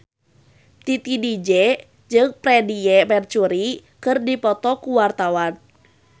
Titi DJ jeung Freedie Mercury keur dipoto ku wartawan